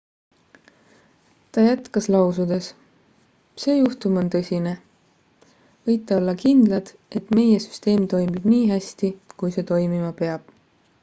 ta jätkas lausudes see juhtum on tõsine võite olla kindlad et meie süsteem toimib nii hästi kui see toimima peab